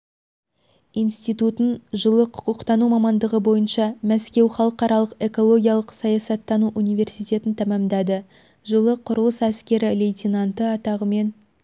институтын жылы құқықтану мамандығы бойынша мәскеу халықаралық экологиялық-саясаттану университетін тәмәмдады жылы құрылыс әскері лейтенанты атағымен